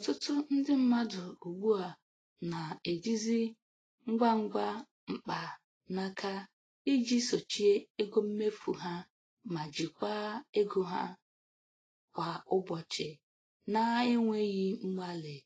Ọtụtụ ndị mmadụ ugbu a na-ejizi ngwa ngwa mkpa naka iji sochie ego mmefu ha ma jikwaa ego ha kwa ụbọchị na-enweghị mgbalị.